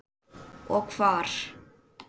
Og hvar.